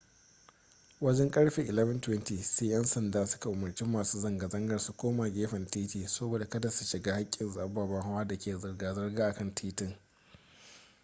wajen karfe 11:20 sai yan sandan su ka umarci masu zanga zangar su koma gefen titi saboda kada su shiga hakkin ababen hawa da ke zirga zirga a kan titin